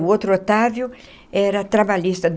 O outro Otávio era trabalhista.